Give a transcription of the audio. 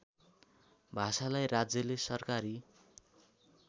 भाषालाई राज्यले सरकारी